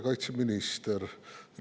Kaitseminister!